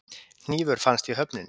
Hnífur fannst í höfninni